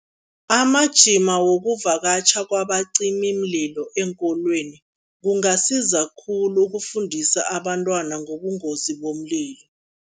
Amajima wokuvakatjha kwabacimimlilo eenkolweni, kungasiza khulu ukufundisa abantwana ngobungozi bomlilo.